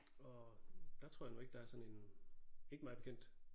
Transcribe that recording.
Og der tror jeg nu ikke der er sådan en ikke mig bekendt